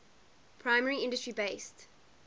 primary industry based